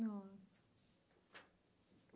Nossa.